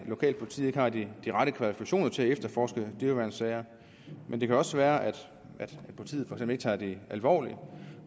lokalt politiet ikke har de rette kvalifikationer til at efterforske dyreværnssager men det kan også være at politiet ikke tager det alvorligt